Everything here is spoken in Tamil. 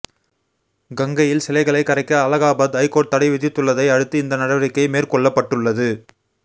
கங்கையில் சிலைகளை கரைக்க அலகாபாத் ஐகோர்ட் தடை விதித்துள்ளதை அடுத்து இந்த நடவடிக்கை மேற்கொள்ளப்பட்டுள்ளது